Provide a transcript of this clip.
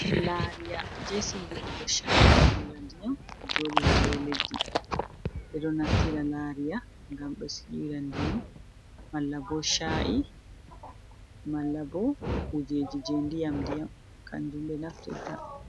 Lariya je siwirugo cha’i, malla ndiyam joɗi ha do leddi, ɓeɗo naftira lariya ngam be siwira ndiyam malla bo cha’i, malla bo kujeji je ndiyam ndiyam kanjum ɓe naftirta.